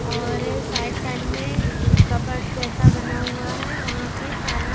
और side side में cupboard जैसा बना हुआ है वहां पे सारा--